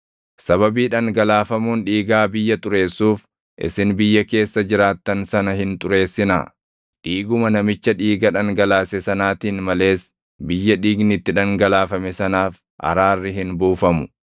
“ ‘Sababii dhangalaafamuun dhiigaa biyya xureessuuf, isin biyya keessa jiraattan sana hin xureessinaa; dhiiguma namicha dhiiga dhangalaase sanaatiin malees biyya dhiigni itti dhangalaafame sanaaf araarri hin buufamu.